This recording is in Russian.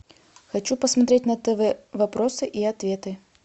хочу посмотреть на тв вопросы и ответы